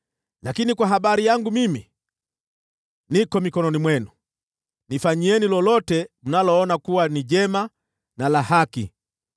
Lakini kwa habari yangu mimi, niko mikononi mwenu, nifanyieni lolote mnaloona kuwa ni jema na la haki.